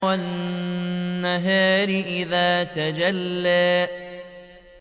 وَالنَّهَارِ إِذَا تَجَلَّىٰ